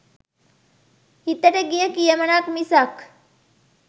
හිතට ගිය "කියමනක්" මිසක්